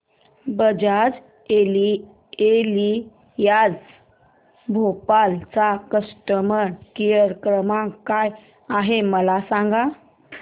Bajaj Allianz Bhopal चा customer care क्रमांक काय आहे मला सांगा